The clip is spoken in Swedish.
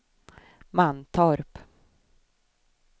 Mantorp